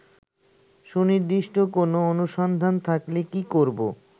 সুনির্দিষ্ট কোন অনুসন্ধান থাকলে কি করবো